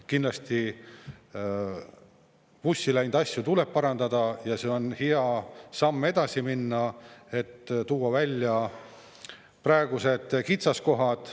Kindlasti, vussi läinud asju tuleb parandada ja see on hea samm, et edasi minna, et tuua välja praegused kitsaskohad.